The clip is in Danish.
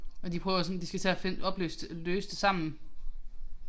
Og de prøver sådan de skal til at finde opløse det løse det sammen